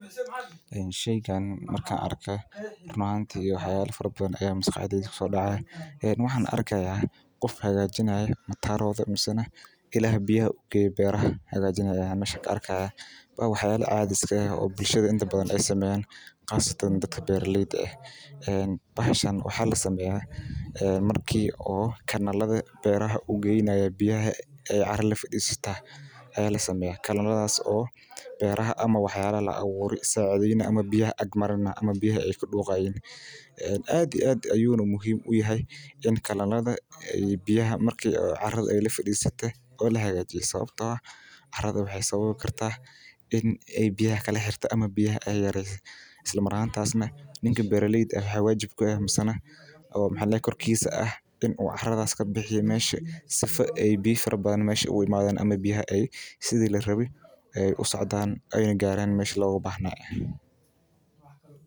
Sheygan marka an arke run ahanti maxaa waye waa waxyala cadhi iska eh marka waxyala abure sacidheynaya in kalaladha ninka beera leyda waa la raba in u qashinka oo lona jaroka bixiyo mesha sifa biyaha meshi larawe ee u garan sas waye sitha laarawo mark shaqa muhiim waye.